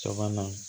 Caman na